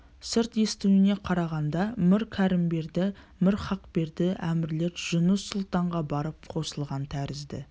сырт естуіне қарағанда мір кәрімберді мір хақберді әмірлер жұныс сұлтанға барып қосылған тәрізді